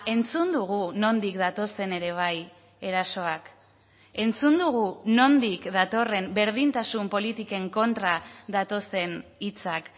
entzun dugu nondik datozen ere bai erasoak entzun dugu nondik datorren berdintasun politiken kontra datozen hitzak